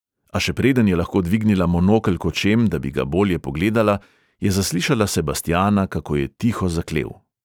A še preden je lahko dvignila monokel k očem, da bi ga bolje pogledala, je zaslišala sebastijana, kako je tiho zaklel.